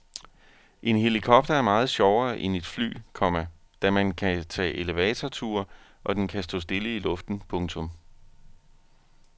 En helikopter er meget sjovere end et fly, komma da man kan tage elevatorture og den kan stå stille i luften. punktum